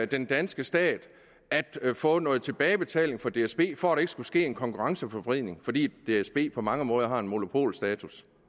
den danske stat at få noget tilbagebetaling fra dsb for at der ikke skulle ske en konkurrenceforvridning fordi dsb på mange måder har en monopolstatus